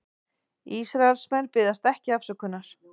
Ísraelsmenn biðjast ekki afsökunar